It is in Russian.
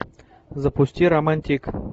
запусти романтик